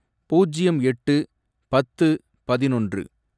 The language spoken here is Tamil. பூஜ்யம் எட்டு, பத்து, பதினொன்று